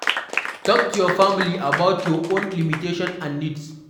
Talk to your family about your own limitations and needs